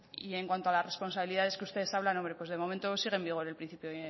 y en cuanto a las responsabilidades que ustedes hablan hombre pues de momento sigue en vigor el principio